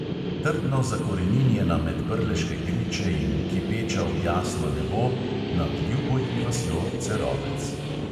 Trdno zakoreninjena med prleške griče in kipeča v jasno nebo (nad ljubo ji vasjo cerovec).